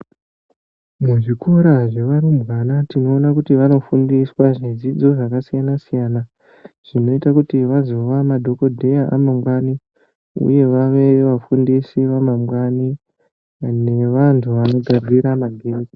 Muzvikora zvevarumbwana tinoona kuti vanofundiswa zvidzidzo zvakasiyana-siyana ,zvinoite kuti vazova madhokodheya amangwani, uye vave vafundisi vamangwani, nevanhu vanogadzira ma